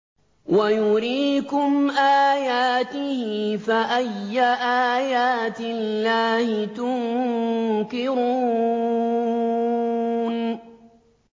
وَيُرِيكُمْ آيَاتِهِ فَأَيَّ آيَاتِ اللَّهِ تُنكِرُونَ